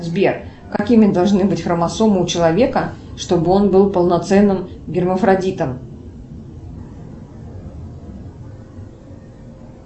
сбер какими должны быть хромосомы у человека чтобы он был полноценным гермафродитом